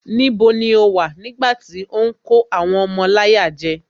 Níbo ni o wà nígbàtí ó ń kó àwọn ọmọ láyà jẹ